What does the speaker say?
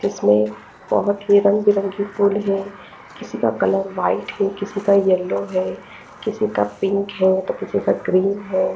इसमें बहोत ही रंग बिरंगी फूल है किसी का कलर व्हाइट किसी का यल्लो है किसी का पिंक है तो किसी का ग्रीन है।